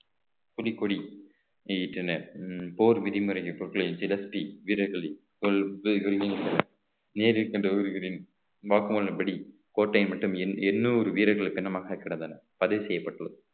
புலிக்கொடி நீட்டனர் போர் விதிமுறை பொருட்களில் நேரில் சென்று வாக்குமூலம் படி கோட்டை மற்றும் எண்~ எண்ணூறு வீரர்கள் பிணமாக கிடந்தன பதிவு செய்யப்பட்டுள்ளது